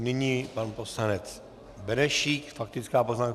Nyní pan poslanec Benešík, faktická poznámka.